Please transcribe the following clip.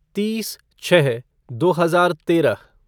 तीस छः दो हजार तेरह